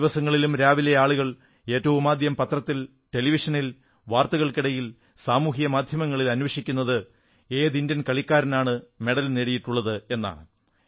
എല്ലാദിവസങ്ങളിലും രാവിലെ ആളുകൾ ഏറ്റവുമാദ്യം പത്രത്തിൽ ടെലിവിഷനിൽ വാർത്തകൾക്കിടയിൽ സാമൂഹിക മാധ്യമങ്ങളിൽ അന്വേഷിക്കുന്നത് ഏത് ഇന്ത്യൻ കളിക്കാരനാണ് മെഡൽ നേടിയിട്ടുള്ളത് എന്നാണ്